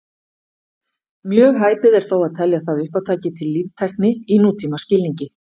Mjög hæpið er þó að telja það uppátæki til líftækni í nútímaskilningi.